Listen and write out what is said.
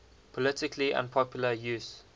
politically unpopular use